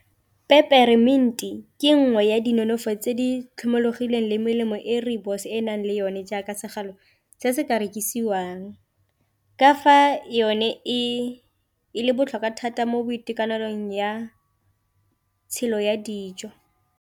Peper mint-i di ke nngwe ya di nonofo tse di tlhomologileng le melemo e rooibos-e e nang le yone jaaka segalo se se ka rekisiwang, ka fa yone e le botlhokwa thata mo boitekanelong ya tshelo ya dijo.